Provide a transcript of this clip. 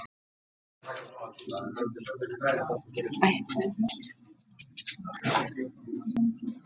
Kristján Már: Geturðu ímyndað þér hvað þetta voru margir skothvellir?